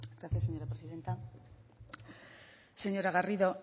gracias señora presidenta señora garrido